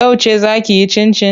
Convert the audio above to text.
Yauce zaa kiyi cincin?